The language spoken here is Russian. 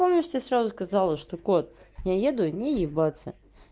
помнишь тебе сразу сказала что кот я еду не ебаться